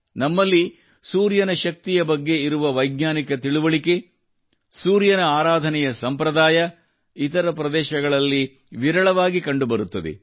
ನಮ್ಮಲ್ಲಿ ಸೂರ್ಯನ ಶಕ್ತಿಯ ಬಗ್ಗೆ ಇರುವ ವೈಜ್ಞಾನಿಕ ತಿಳುವಳಿಕೆ ಸೂರ್ಯನ ಆರಾಧನೆಯ ಸಂಪ್ರದಾಯ ಇತರ ಪ್ರದೇಶಗಳಲ್ಲಿ ವಿರಳವಾಗಿ ಕಂಡುಬರುತ್ತದೆ